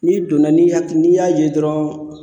N'i donna n'i haki n'i y'a ye dɔrɔn